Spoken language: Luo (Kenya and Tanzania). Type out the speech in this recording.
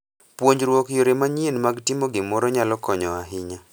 Puonjruok yore manyien mag timo gimoro nyalo konyo ahinya.